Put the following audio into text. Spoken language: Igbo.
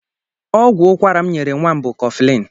Ọgwụ ụkwara m nyere nwa m bụ koflịn.